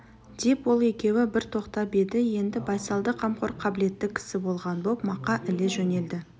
деп ол екеуі бір тоқтап еді енді байсалды қамқор қабілетті кісі болған боп мақа іле жөнелді